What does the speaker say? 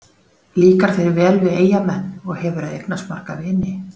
Líkar þér vel við Eyjamenn og hefurðu eignast marga vini?